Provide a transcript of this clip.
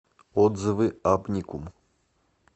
отзывы абникум